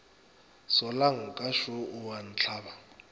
solanka šo o a ntlaba